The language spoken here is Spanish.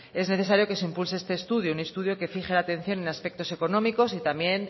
es necesario que se impulse este estudio un estudio que fije la atención en aspectos económicos y también